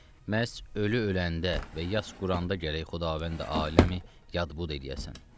Məhz ölü öləndə və yas quranda gərək Xudavəndi aləmi yad bud eləyəsən.